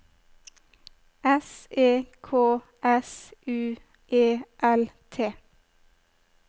S E K S U E L T